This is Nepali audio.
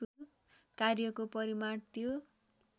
कार्यको परिमाण त्यो